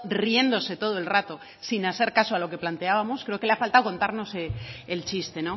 riéndose todo el rato sin hacer caso a lo que planteábamos creo que le ha faltada contarnos el chiste